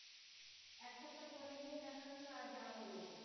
দেখা গেল আর যাওয়া হল না।